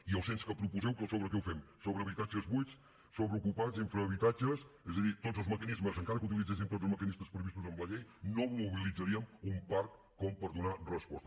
i el cens que proposeu sobre què el fem sobre habitatges buits sobre ocupats infrahabitatges és a dir encara que utilitzéssim tots els mecanismes previstos en la llei no mobilitzaríem un parc per donar hi resposta